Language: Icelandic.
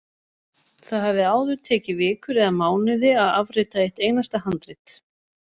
Það hafði áður tekið vikur eða mánuði að afrita eitt einasta handrit.